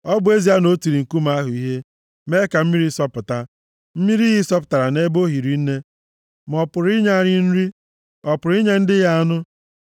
Ọ bụ ezie na o tiri nkume ahụ ihe, mee ka mmiri sọpụta, mmiri iyi sọpụtara nʼebe o hiri nne, ma ọ pụrụ inye anyị nri? Ọ pụrụ inye ndị ya anụ?”